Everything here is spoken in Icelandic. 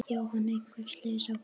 Jóhann: Einhver slys á fólki?